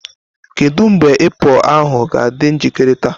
Kedu mgbe ipo ahu ga-adị njikere taa?